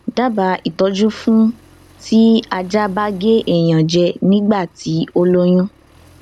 dábàá ìtọjú fún ti ajá ba ge eyan je nígbà tí ó lóyún